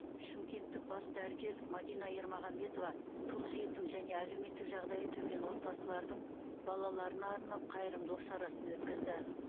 шымкенттік бас дәрігер мәдина ермаханбетова тұл жетім және әлеуметтік жағдайы төмен отбасылардың балаларына арнап қайырымдылық шарасын өткізді